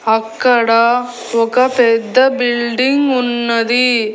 అక్కడ ఒక పెద్ద బిల్డింగ్ ఉన్నది.